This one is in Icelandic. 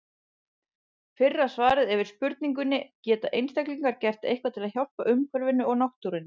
Fyrra svarið er við spurningunni Geta einstaklingar gert eitthvað til að hjálpa umhverfinu og náttúrunni?